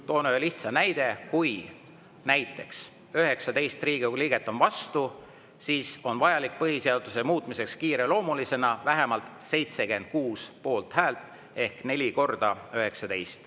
Toon ühe lihtsa näite: kui näiteks 19 Riigikogu liiget on vastu, siis on põhiseaduse muutmiseks kiireloomulisena vaja vähemalt 76 poolthäält ehk 4 × 19.